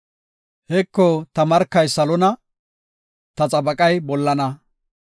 Heko ta markay salona; ta xabaqay bollana.